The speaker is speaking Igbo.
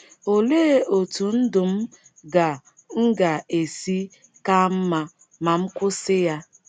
Olee otú ndụ m ga - m ga - esi ka mma ma m kwụsị ya?